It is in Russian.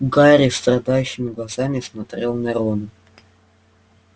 гарри страдающими глазами смотрел на рона